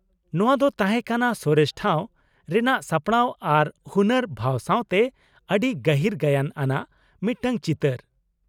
ᱱᱚᱶᱟ ᱫᱚ ᱛᱟᱦᱮᱸ ᱠᱟᱱᱟ ᱥᱚᱨᱮᱥ ᱴᱷᱟᱶ ᱨᱮᱱᱟᱜ ᱥᱟᱯᱲᱟᱣ ᱟᱨ ᱦᱩᱱᱟ.ᱨ ᱵᱷᱟᱣ ᱥᱟᱶᱛᱮ ᱟ.ᱰᱤ ᱜᱟᱹᱦᱤᱨ ᱜᱟᱭᱟᱱ ᱟᱱᱟᱜ ᱢᱤᱫᱴᱟᱝ ᱪᱤᱛᱟ.ᱨ ᱾